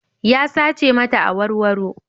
Ya sace mata awarwaro.